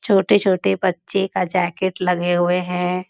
छोटे-छोटे बच्चे का जैकेट लगे हुए है।